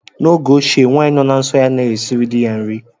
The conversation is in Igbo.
N'oge ochie, nwaanyị nọ na nsọ ya anaghị esiri dị ya nri.